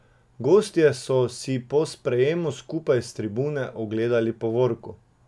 Gostje so si po sprejemu skupaj s tribune ogledali povorko.